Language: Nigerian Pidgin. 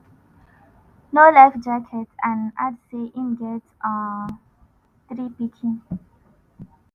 no life jacket and add say im get um three pikin